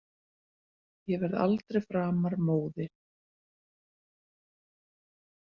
Ég verð aldrei framar móðir.